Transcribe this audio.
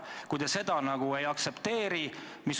Miks te seda ei aktsepteerinud?